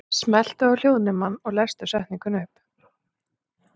Keflvíkingar mættu ögn skárri í seinni hálfleikinn en voru þó ennþá lakari aðilinn í leiknum.